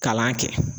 Kalan kɛ